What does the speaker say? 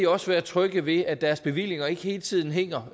også være trygge ved at deres bevillinger ikke hele tiden hænger